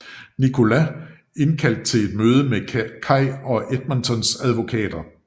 Nicholas indkaldt til et møde med Kay og Edmontons advokater